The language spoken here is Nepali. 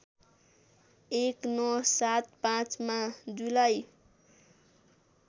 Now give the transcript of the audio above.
१९७५ मा जुलाई